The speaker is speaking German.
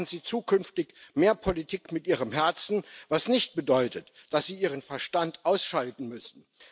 Machen Sie zukünftig mehr Politik mit Ihrem Herzen, was nicht bedeutet, dass Sie Ihren Verstand ausschalten müssen.